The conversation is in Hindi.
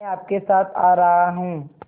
मैं आपके साथ आ रहा हूँ